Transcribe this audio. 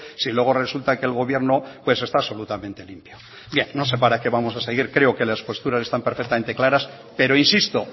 si luego resulta que el gobierno pues está absolutamente limpio bien no sé para qué vamos a seguir creo que las posturas están perfectamente claras pero insisto